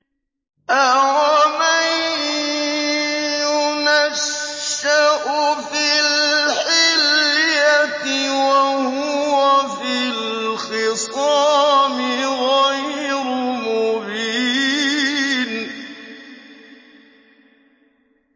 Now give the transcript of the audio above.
أَوَمَن يُنَشَّأُ فِي الْحِلْيَةِ وَهُوَ فِي الْخِصَامِ غَيْرُ مُبِينٍ